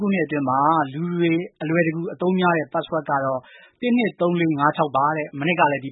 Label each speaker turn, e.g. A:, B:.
A: ခုနှစ်အတွင်း လူတွေ အလွယ်တကူ အသုံးများတဲ့ password တွေကတော့ ၁၂၃၄၅၆ ပါ။ မနှစ်ကလည်း ဒ